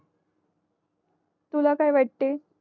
तुला काय वाटे